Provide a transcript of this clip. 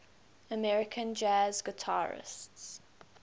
american jazz guitarists